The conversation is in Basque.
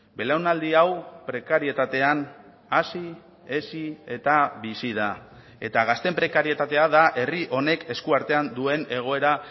belaunaldi hau prekarietatean hasi hezi eta bizi da eta gazteen prekarietatea da herri honek eskuartean duen egoera